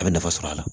A bɛ nafa sɔrɔ a la